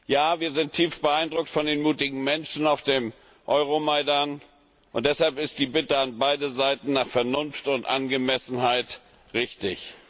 Ja, wir sind tief beeindruckt von den mutigen Menschen auf dem Euromaidan, und deshalb ist die Bitte an beide Seiten nach Vernunft und Angemessenheit richtig.